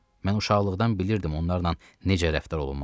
Mən uşaqlıqdan bilirdim onlarla necə rəftar olunmalıdır.